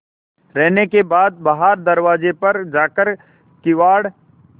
रहने के बाद बाहर दरवाजे पर जाकर किवाड़